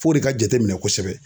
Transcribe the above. F'o de ka jateminɛ kosɛbɛ.